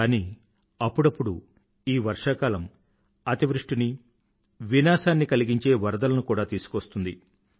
కానీ అప్పుడప్పుడు ఈ వర్షాకాలం అతివృష్టిని వినాశనాన్ని కలిగించే వరదలను కూడా తీసుకువస్తుంది